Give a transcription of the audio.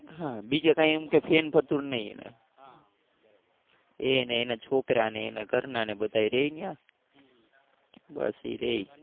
હા બીજે કઈ એમ ને ફેર ફઅતુર નહીં એને. એ ને એના છોકરા ને એના ઘરના ને બધા એ રહે ત્યાં. બસ એ રહે.